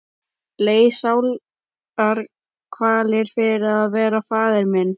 Leið sálarkvalir fyrir að vera faðir minn.